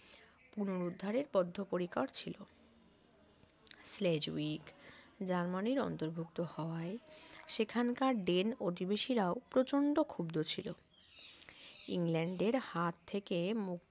পুনরুদ্ধারের বদ্ধপরিকর ছিল স্লেজ্বীক জার্মানির অন্তর্ভুক্ত হওয়ায় সেখানকার ড্রেন অধিবেশিরাও প্রচন্ড ক্ষুব্ধ ছিল ইংল্যান্ডের হাত থেকে মুক্তির